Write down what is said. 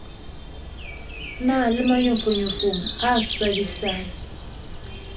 na le manyofonyofo a swabisang